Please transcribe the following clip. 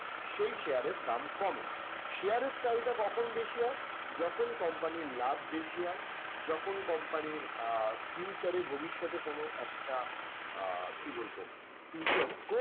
সেই share এর দাম কমে। share এর চাহিদা কখন বেশি হয়? যখন company র লাভ বেশি হয় যখন company র আহ future এ ভবিষ্যতে কোনো একটা আহ কি বলবো future scope